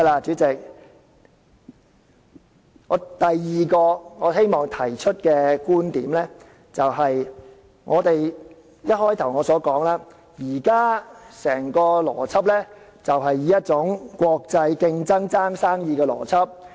主席，第二個我希望提出的觀點就是，正如我開首時所說，現在整個邏輯是一種國際競爭，爭奪生意的邏輯。